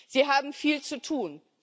Sie haben viel zu tun.